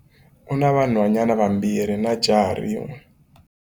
U na vanhwanyana vambirhi na jaha rin'we.